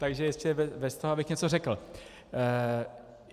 Takže ještě bez toho, abych něco řekl.